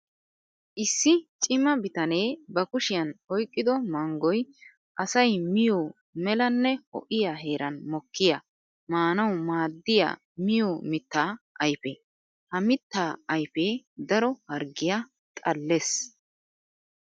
Issi cima bitane ba kushiyan oyqqiddo manggoy asay miyo melanne ho'iya heeran mokkiya maanawu maadiya miyo mitta ayfe. Ha mitta ayfe daro harggiya xallees.